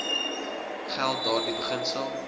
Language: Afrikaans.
geld daardie beginsel